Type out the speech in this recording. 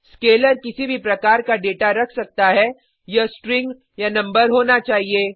scalar किसी भी प्रकार का डेटा रख सकता है यह स्ट्रिंग नंबर होना चाहिए